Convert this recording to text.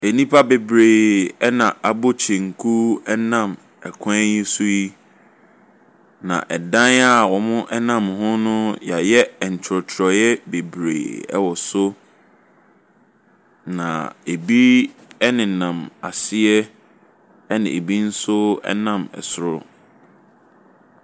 Nnipa bebree ɛna abɔ kyenku ɛnam ɛkwan so yi. Na ɛdan a wɔnam ho no yɛayɛ nkyerɛwkyerɛw bebree wɔ so. Na ebi nenam aseɛ. Na ebi nso nam soro.